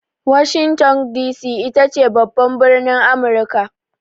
Washington D.C ita ce babban birnin Amurika.